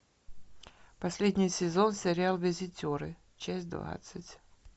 последний сезон сериал визитеры часть двадцать